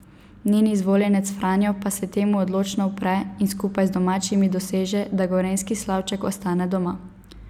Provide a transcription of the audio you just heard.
Njen izvoljenec Franjo pa se temu odločno upre in skupaj z domačini doseže, da gorenjski slavček ostane doma.